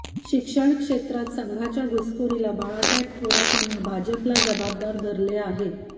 शिक्षण क्षेत्रात संघाच्या घुसघोरीला बाळासाहेब थोरात यांनी भाजपला जबाबदार धरले आहे